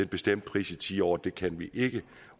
bestemt pris i ti år det kan vi ikke